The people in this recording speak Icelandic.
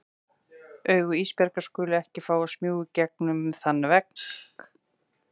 Augu Ísbjargar skulu ekki fá að smjúga í gegnum þann vegg.